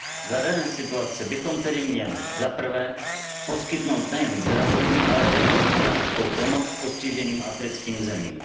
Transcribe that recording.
Za dané situace bychom tedy měli zaprvé, poskytnout nejen zdravotní, ale i hospodářskou pomoc postiženým africkým zemím